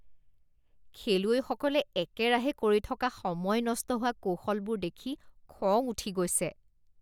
খেলুৱৈসকলে একেৰাহে কৰি থকা সময় নষ্ট হোৱা কৌশলবোৰ দেখি খং উঠি গৈছে।